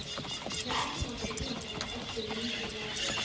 Við ætlum að virða þau í öllu lítillæti.